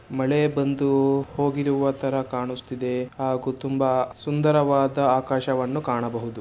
ಮಳೆ ಬಂದು ಹೋಗಿರುವ ತರ ಕಾಣುಸ್ತಿದೆ ಹಾಗು ತುಂಬಾ ಸುಂದರವಾದ ಆಕಾಶವನ್ನು ಕಾಣಬಹುದು.